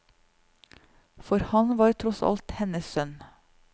For han var tross alt hennes sønn.